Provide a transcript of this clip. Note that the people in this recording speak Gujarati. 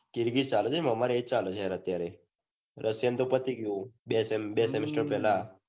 કિરકિર છે છે આમરે એ ચાલે છે રશિયન નું રશિયન તો પતિ ગયું બે semester પેલા